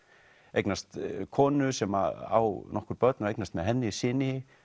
eignast konu sem á nokkur börn og eignast með henni syni